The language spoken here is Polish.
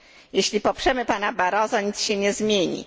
Jeśli poprzemy pana Barroso, nic się nie zmieni.